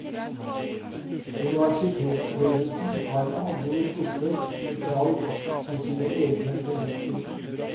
Universitetsledelsen har med andre ord truffet et valg på sine egne premisser.